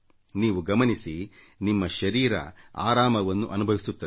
ನೀವು ಗಮನಿಸಿ ನಿಮ್ಮ ಶರೀರ ಹಗುವರವಾದ ಅನುಭವಿಸುತ್ತದೆ